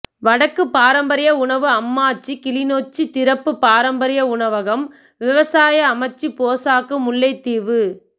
வடக்கு பாரம்பரிய உணவு அம்மாச்சி கிளிநொச்சி திறப்பு பாரம்பரிய உணவகம் விவசாய அமைச்சு போசாக்கு முல்லைத்தீவு